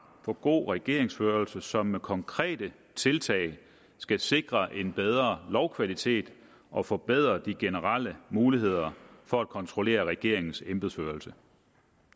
for god regeringsførelse som med konkrete tiltag skal sikre en bedre lovkvalitet og forbedre de generelle muligheder for at kontrollere regeringens embedsførelse